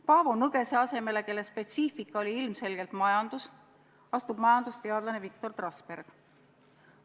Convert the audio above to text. Paavo Nõgese asemele, kelle spetsiifika oli ilmselgelt majandus, astub majandusteadlane Viktor Trasberg.